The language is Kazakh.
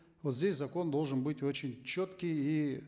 вот здесь закон должен быть очень четкий и